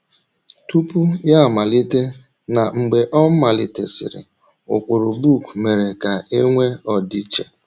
Tupu Ya Amalite na Mgbe Ọ Malitesịrị — Ụkpụrụ book Mere Ka E Nwee Ọdịiche